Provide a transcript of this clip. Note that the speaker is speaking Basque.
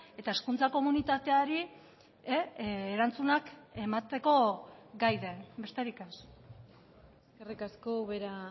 eta hezkuntza komunitateari erantzunak emateko gai den besterik ez eskerrik asko ubera